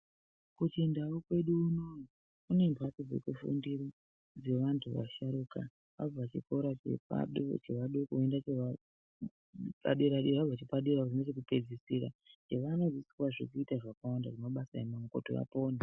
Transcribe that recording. Kundau kwedu unono kune mhaydo dzekufundira dzevantu vasharukwa kana abva chikoro chevadoko vozoenda chepadera dera chekupedzisira vanofundiswa zvakawanda zvemabasa epamaoko kuti vapone